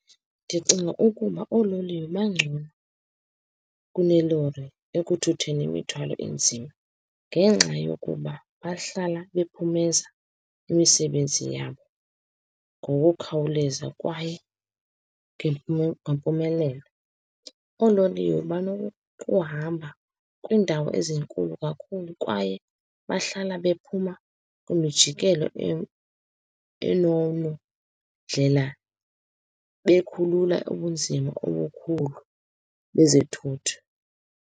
Ndicinga ukuba oololiwe bangcono kunelori ekuthutheni imithwalo enzima, ngenxa yokuba bahlala bephumeza imisebenzi yabo ngokukhawuleza kwaye ngempumelelo. Oololiwe banokuhamba kwiindawo ezinkulu kakhulu, kwaye bahlala bephuma kwimijikelo ndlela bekhulula ubunzima obukhulu bezithuthi.